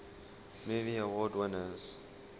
movie award winners